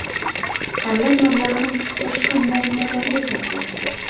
Davlat mablag‘ini boshqa muammolarga sarflashsin.